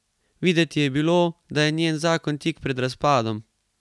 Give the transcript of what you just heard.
Videti je bilo, da je njen zakon tik pred razpadom.